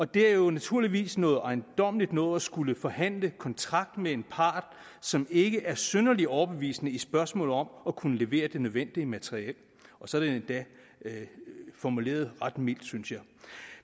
det er jo naturligvis noget ejendommeligt noget at skulle forhandle kontrakt med en part som ikke er synderlig overbevisende i spørgsmålet om at kunne levere det nødvendige materiel og så er det endda formuleret ret mildt synes jeg